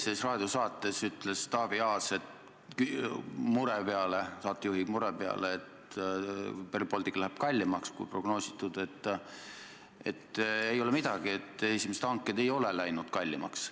Reedeses raadiosaates ütles Taavi Aas saatejuhi mure peale, et Rail Baltic läheb kallimaks, kui prognoositud, et pole midagi, esimesed hanked ei ole läinud kallimaks.